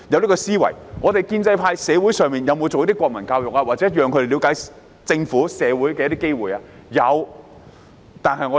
建制派在社會上有否推行國民教育，或有否提供讓學生了解政府和社會的機會？